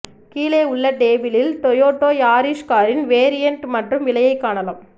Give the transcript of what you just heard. கீழே உள்ள டேபிளில் டொயோட்டா யாரீஸ் காரின் வேரியன்ட் மற்றும் விலையை காணலாம்